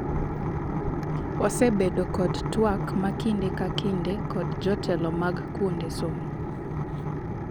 "Wasebedo kod twak ma kinde ka kinde kod jotelo mag kuonde somo.